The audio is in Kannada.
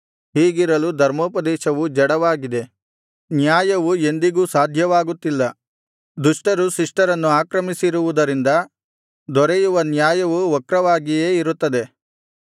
ಹೀಗಿರಲು ಧರ್ಮೋಪದೇಶವು ಜಡವಾಗಿದೆ ನ್ಯಾಯವು ಎಂದಿಗೂ ಸಾಧ್ಯವಾಗುತ್ತಿಲ್ಲ ದುಷ್ಟರು ಶಿಷ್ಟರನ್ನು ಆಕ್ರಮಿಸಿರುವುದರಿಂದ ದೊರೆಯುವ ನ್ಯಾಯವೂ ವಕ್ರವಾಗಿಯೇ ಇರುತ್ತದೆ